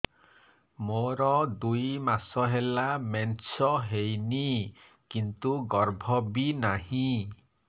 ମୋର ଦୁଇ ମାସ ହେଲା ମେନ୍ସ ହେଇନି କିନ୍ତୁ ଗର୍ଭ ବି ନାହିଁ